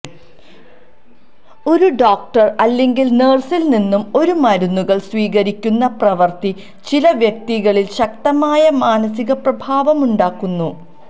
ഒരു ഡോക്ടർ അല്ലെങ്കിൽ നഴ്സിൽ നിന്ന് ഒരു മരുന്നുകൾ സ്വീകരിക്കുന്ന പ്രവൃത്തി ചില വ്യക്തികളിൽ ശക്തമായ മാനസികപ്രഭാവം ഉണ്ടാക്കുന്നു